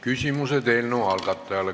Küsimused eelnõu algatajale.